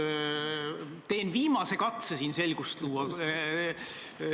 Ma teen viimase katse siin selgust luua.